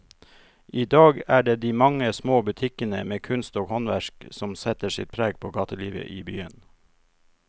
I dag er det de mange små butikkene med kunst og håndverk som setter sitt preg på gatelivet i byen.